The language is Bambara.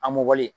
A mɔlen